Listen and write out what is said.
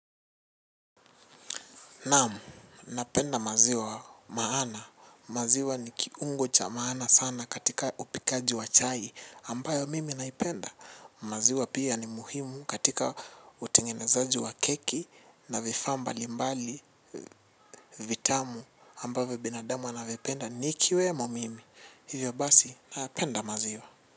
Namu, napenda maziwa maana. Maziwa ni kiungo cha maana sana katika upikaji wa chai ambayo mimi naipenda. Maziwa pia ni muhimu katika utengenezaji wa keki na vifaa mbalimbali vitamu ambavo binadamu anavipenda. Nikiwemo mimi, hivyo basi napenda maziwa.